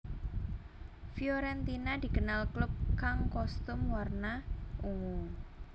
Fiorentina dikenal klub kang kostum warna ungu